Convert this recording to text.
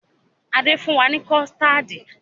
Adé fún wa ni kọ̀stáádì